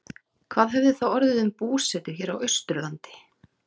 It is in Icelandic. Hvað hefði þá orðið um búsetu hér á Austurlandi?